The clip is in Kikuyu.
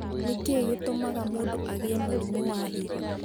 Nĩ kĩĩ gĩtũmaga mũndũ agĩe mũrimũ wa higo?